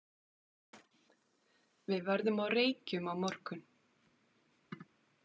Við verðum á Reykjum á morgun.